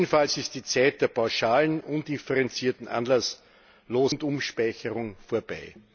Jedenfalls ist die Zeit der pauschalen, undifferenzierten, anlasslosen Rundumspeicherung vorbei.